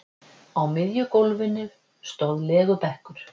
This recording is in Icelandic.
Á miðju gólfinu stóð legubekkur.